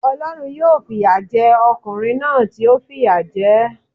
Olórun yóò fi ìyà je okùnrin náà tí ó fìyà je é